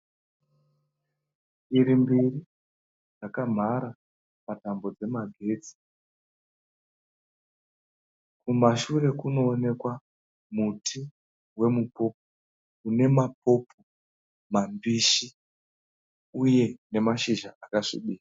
Shiri mbiri dzakamhara patambo dzemagetsi. Kumashure kunoonekwa muti wemupopo une mapopo mambishi uye nemashizha akasvibira.